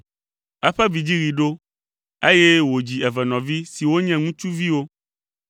Eƒe vidziɣi ɖo, eye wòdzi evenɔvi siwo nye ŋutsuviwo.